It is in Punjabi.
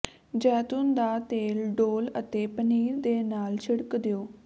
ਜੈਤੂਨ ਦਾ ਤੇਲ ਡੋਲ੍ਹ ਅਤੇ ਪਨੀਰ ਦੇ ਨਾਲ ਛਿੜਕ ਦਿਓ